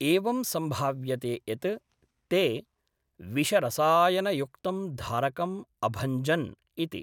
एवं सम्भाव्यते यत् ते विषरसायनयुक्तं धारकम् अभञ्जन् इति।